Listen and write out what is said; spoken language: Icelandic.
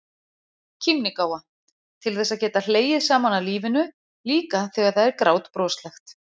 KÍMNIGÁFA- til þess að geta hlegið saman að lífinu, líka þegar það er grátbroslegt.